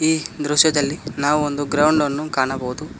ಈ ದೃಶ್ಯದಲ್ಲಿ ನಾವು ಒಂದು ಗ್ರೌಂಡ್ ಅನ್ನ ಕಾಣಬಹುದು.